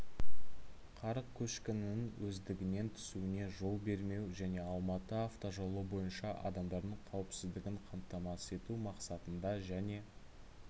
қар көшкінінің өздігінен түсуіне жол бермеу және алматы автожолы бойынша адамдардың қауіпсіздігін қамтамасыз ету мақсатында және